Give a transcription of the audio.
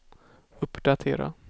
uppdatera